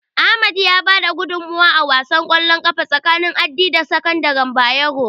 Ahmad ya bada gudunmawa a wasan ƙwallon ƙafa tsakanin Addi da sakandaren Bayero.